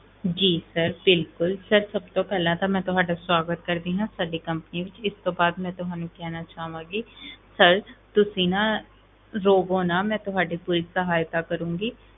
ਜੀ sir ਬਿਲਕੁਲ sir ਸਭ ਤੋਂ ਪਹਿਲਾਂ ਤਾਂ ਮੈਂ ਤੁਹਾਡਾ ਸਵਾਗਤ ਕਰਦੀ ਹਾਂ ਸਾਡੀ company ਵਿੱਚ, ਇਸ ਤੋਂ ਬਾਅਦ ਮੈਂ ਤੁਹਾਨੂੰ ਕਹਿਣਾ ਚਾਹਾਂਗੀ sir ਤੁਸੀਂ ਨਾ, ਰੋਵੋ ਨਾ ਮੈਂ ਤੁਹਾਡੀ ਪੂਰੀ ਸਹਾਇਤਾ ਕਰਾਂਗੀ,